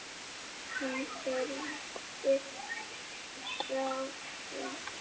Hún þerraði tárin.